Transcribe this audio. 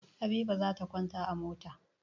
Habiba za ta kwanta a mota.